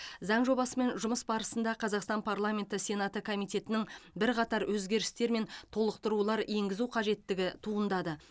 заң жобасымен жұмыс барысында қазақстан парламенті сенаты комитеттерінің бірқатар өзгерістер мен толықтырулар енгізу қажеттігі туындады